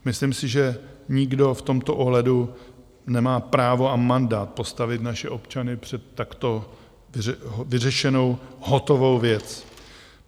Myslím si, že nikdo v tomto ohledu nemá právo a mandát postavit naše občany před takto vyřešenou, hotovou věc.